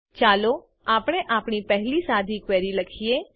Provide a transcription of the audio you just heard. ચાલો આપણે આપણી પહેલી સાદી ક્વેરી લખીએ